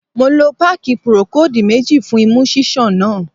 Mo lo páàkì Procold méjì fún imú ṣíṣàn náà.